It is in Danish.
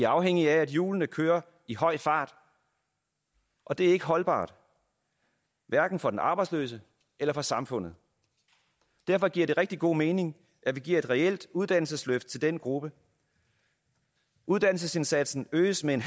afhængige af at hjulene kører i høj fart og det er ikke holdbart for den arbejdsløse eller for samfundet derfor giver det rigtig god mening at vi giver et reelt uddannelsesløft til den gruppe uddannelsesindsatsen øges med